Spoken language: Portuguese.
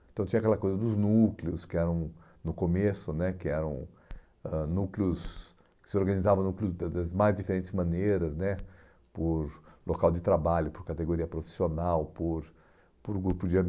Então tinha aquela coisa dos núcleos, que eram no começo né, que eram ãh núcleos que se organizavam núcleos das das das mais diferentes maneiras né, por local de trabalho, por categoria profissional, por por grupo de